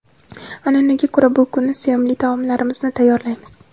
An’anaga ko‘ra bu kuni sevimli taomlarimizni tayyorlaymiz.